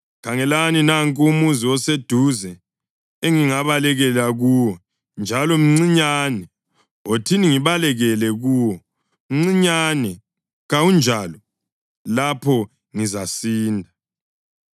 Khangelani, nanku umuzi oseduze engingabalekela kuwo, njalo mncinyane, wothini ngibalekele kuwo, mncinyane, kawunjalo? Lapho ngizasinda.”